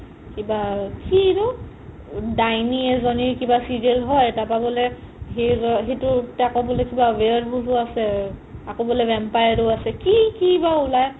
কিবা কি এটো দাইনি এজনি কিবা serial হয় তাৰ পাই বুলে সেইটোতে আকৌ কিবা weird wolf আছে আকৌ বুলে vampire ও আছে কি কি বা উলাই